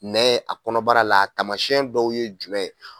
Nɛ a kɔnɔbara la taamasiyɛn dɔw ye jumɛn ye.